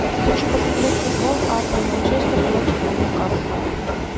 хочу посмотреть футбол апл манчестер против ньюкасл